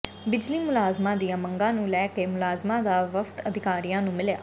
ਬਿਜਲੀ ਮੁਲਾਜ਼ਮਾਂ ਦੀਆਂ ਮੰਗਾਂ ਨੂੰ ਲੈ ਕੇ ਮੁਲਾਜ਼ਮਾਂ ਦਾ ਵਫ਼ਦ ਅਧਿਕਾਰੀਆਂ ਨੂੰ ਮਿਲਿਆ